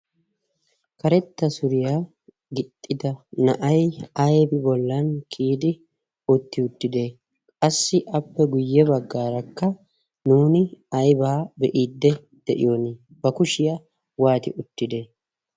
karetta suriyaa gixxida na'ay ayba bollan kiyidi utti uttide qassi appe guyye baggaarakka nuuni aybaa be'iidde de'iyon ba kushiyaa waati uttide